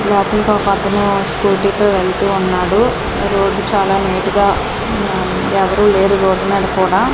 పక్కనే ఓ స్కూటీ తో వెళ్తూ ఉన్నాడు రోడ్డు చాలా నీటుగా ఎవరూ లేరు రోడ్డు మీద కూడా--